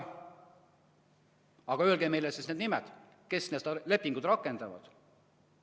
Aga öelge meile siis nende nimed, kes seda lepingut rakendavad.